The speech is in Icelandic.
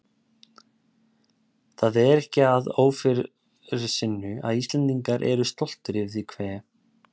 Það er ekki að ófyrirsynju að Íslendingar eru stoltir yfir því hve